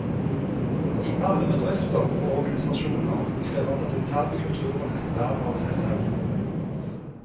I alle bedrifter og organisasjoner krever den interne kulturen et vern av seg selv.